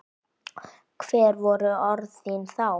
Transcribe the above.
Hver voru orð þín þá?